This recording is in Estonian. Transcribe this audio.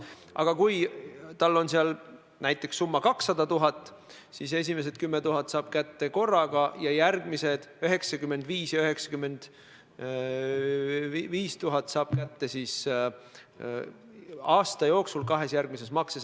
Aga kui tal on seal näiteks summa 200 000, siis esimesed 10 000 eurot saab ta kätte korraga ja järgmised 95 000 ja 95 000 aasta jooksul kahel järgmisel maksepäeval.